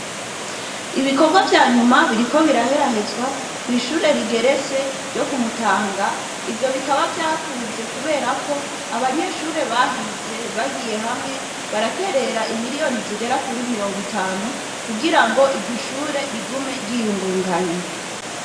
Ibikorwa vya nyuma biriko biraherahezwa kw'ishure rigeretse ryo ku Mutanga, ivyo bikaba vyakunze kubera ko, abanyeshure bahize bagiye hamwe, baraterera imiriyoni zigera kuri mirongo itanu, kugira ngo iryo shure, rigume ryiyungunganya.